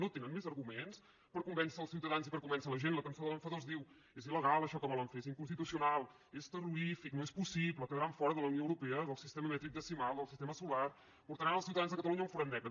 no tenen més arguments per convèncer els ciutadans i per convèncer la gent la cançó de l’enfadós diu és ilrorífic no és possible quedaran fora de la unió europea del sistema mètric decimal del sistema solar portaran els ciutadans de catalunya a un forat negre